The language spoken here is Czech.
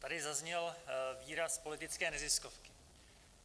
Tady zazněl výraz politické neziskovky.